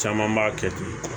Caman b'a kɛ ten